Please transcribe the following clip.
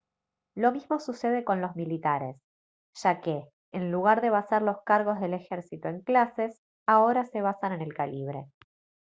lo mismo sucede con los militares ya que en lugar de basar los cargos del ejército en clases ahora se basan en el calibre